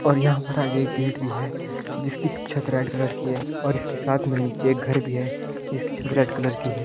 और यहां पर आगे गेट भी है जिसकी छत रेड कलर की है और इसके साथ में नीचे एक घर भी है जिसकी छत रेड कलर की है।